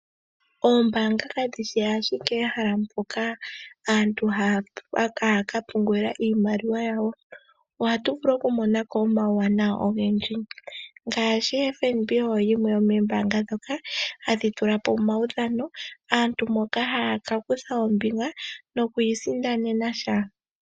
Oombaanga kadhishi ashike ehala mpoka aantu haya ka pungulila iimaliwa yawo. Ohatu vulu okumona ko omauwanawa ogendji ngaashi FNB oyo yimwe yomoombanga ndhoka hadhi tula po omaudhano, aantu moka haya kakutha ombinga nokwii sindanena sha.